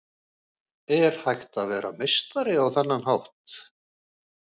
Er hægt að vera meistari á þennan hátt?